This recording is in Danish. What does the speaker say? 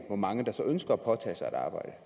hvor mange der så ønsker at påtage sig et arbejde